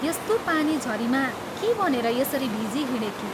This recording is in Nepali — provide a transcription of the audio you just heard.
यस्तो पानी झरीमा के भनेर यसरी भिजिहिंडेकी?